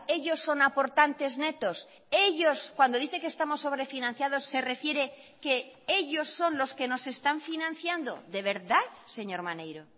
ellos son aportantes netos ellos cuando dice que estamos sobre financiados se refiere que ellos son los que nos están financiando de verdad señor maneiro